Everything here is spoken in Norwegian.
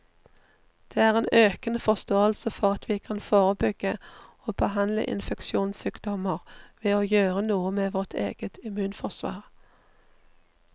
Det er en økende forståelse for at vi kan forebygge og behandle infeksjonssykdommer ved å gjøre noe med vårt eget immunforsvar.